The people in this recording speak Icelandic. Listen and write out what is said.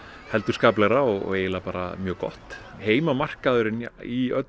heldur skaplegra og eiginlega bara mjög gott heimamarkaðurinn í